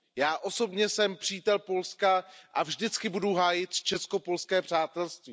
Já osobně jsem přítel Polska a vždycky budu hájit česko polské přátelství.